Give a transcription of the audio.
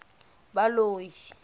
baloi